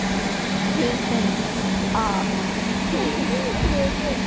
Guðfinna, hvað er í matinn á laugardaginn?